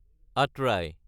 Atrai